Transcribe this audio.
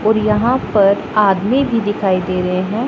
और यहां पर आदमी भी दिखाई दे रहे हैं।